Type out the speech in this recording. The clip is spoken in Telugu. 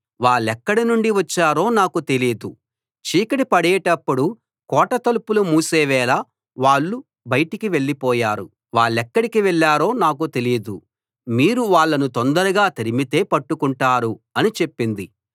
వాళ్ళెక్కడ నుండి వచ్చారో నాకు తెలీదు చీకటి పడేటప్పుడు కోట తలుపులు మూసే వేళ వాళ్ళు బయటికి వెళ్లిపోయారు వాళ్ళెక్కడికి వెళ్ళారో నాకు తెలీదు మీరు వాళ్ళను తొందరగా తరిమితే పట్టుకుంటారు అని చెప్పింది